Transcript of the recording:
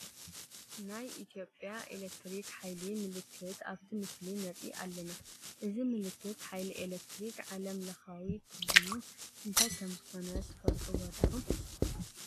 ናይ ኢትዮጽያ ኤለክትሪክ ሓይሊ ምልክት ኣብቲ ምስሊ ንርኢ ኣለና፡፡ እዚ ምልክት ሓይሊ ኤለክትሪክ ዓለም ለኻዊ ትርጉሙ እንታይ ከምዝኾነ ትፈልጡዎ ዲኹም?